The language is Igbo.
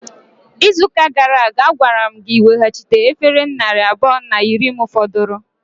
Izuụka gara aga, agwara m gị ị weghachite efere narị abụọ na iri m fọdụrụ!